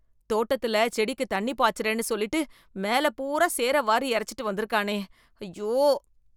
தோட்டத்தில செடிக்கு தண்ணி பாச்சறேன்னு சொல்லிட்டு மேல பூரா சேர வாரி எரச்சுட்டு வந்திருக்கானே, அய்யோ.